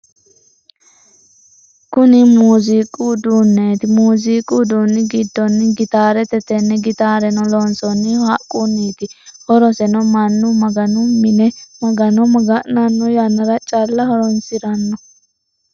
Kunni muuziiqu uduunneeti. Muuziiqu uduunni gidono gitaarete. Tenne gitaareno loonsoonnihu haqunniiti. Horoseno mannu maganu minne magano maga'nanno yannara calla horoonsirano.